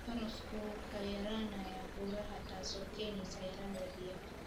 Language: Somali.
Barafku wuu ka yaraanayaa buuraha taasoo keenaysa yaraanta biyaha.